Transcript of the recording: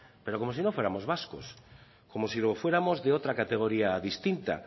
pero como si no fuéramos vascos como si fuéramos de otra categoría distinta